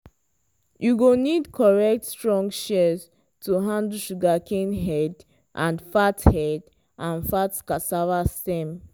you go need correct strong shears to handle sugarcane head and fat head and fat cassava stem.